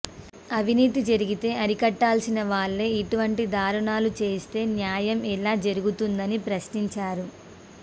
అవినీతి జరిగితే అరికట్టాల్సిన వాళ్లే ఇటువంటి దారుణాలు చేస్తే న్యాయం ఎలా జరుగుతుందని ప్రశ్నించారు